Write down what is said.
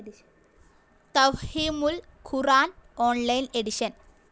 തഫ്ഹീമുൽ ഖുർആൻ online edition